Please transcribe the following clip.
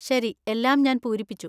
ശരി. എല്ലാം ഞാൻ പൂരിപ്പിച്ചു.